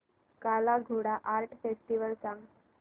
काला Ghoda art festival सांग